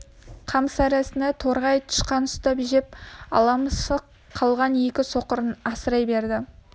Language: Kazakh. қамыс арасынан торғай тышқан ұстап жеп ала мысық қалған екі соқырын асырай берді